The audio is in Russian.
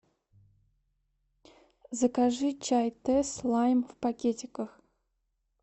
закажи чай тесс лайм в пакетиках